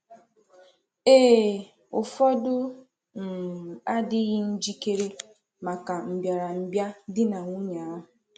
Ee, ụfọdụ um adịghị njikere maka mbị̀arambị̀a di nwunye ahụ.